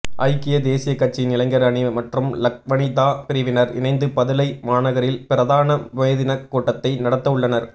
ஐக்கிய தேசியக் கட்சியின் இளைஞர் அணி மற்றும் லக்வனிதா பிரிவினர் இணைந்து பதுளை மாநகரில் பிரதான மேதினக் கூட்டத்தை நடத்தவுள்ளனர்